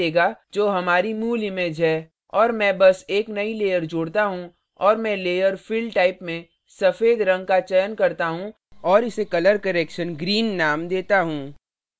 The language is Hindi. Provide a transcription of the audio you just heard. और मैं बस एक नई layer जोड़ता हूँ और मैं layer fill type में सफेद रंग का चयन करता हूँ और इसे color correction green name देता हूँ